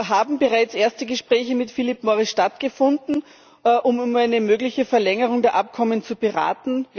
Haben bereits erste Gespräche mit Philip Morris stattgefunden, um über eine mögliche Verlängerung der Abkommen zu beraten?